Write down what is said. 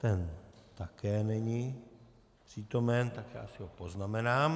Ten také není přítomen, tak já si ho poznamenám.